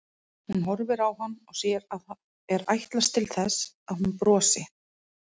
Gat þó ekkert sofnað en lá hreyfingarlaus í sorg og vanmætti fram á miðja nótt.